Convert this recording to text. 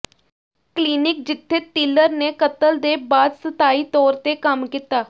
clinic ਜਿੱਥੇ Tiller ਨੇ ਕਤਲ ਦੇ ਬਾਅਦ ਸਥਾਈ ਤੌਰ ਤੇ ਕੰਮ ਕੀਤਾ